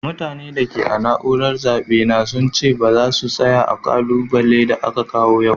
Mutane da ke a'naúrar zabe na sun ce baza su tsaya a'kubile da aka kawo yau.